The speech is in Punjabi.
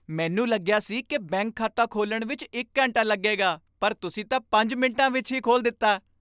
ਮੈਨੂੰ ਲੱਗਿਆ ਸੀ ਕਿ ਬੈਂਕ ਖਾਤਾ ਖੋਲ੍ਹਣ ਵਿੱਚ ਇੱਕ ਘੰਟਾ ਲੱਗੇਗਾ ਪਰ ਤੁਸੀਂ ਤਾਂ ਪੰਜ ਮਿੰਟਾਂ ਵਿੱਚ ਹੀ ਖੋਲ ਦਿੱਤਾ